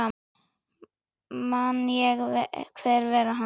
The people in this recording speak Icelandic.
Man ég hver hann var?